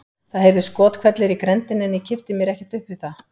Það heyrðust skothvellir í grenndinni en ég kippti mér ekkert upp við það.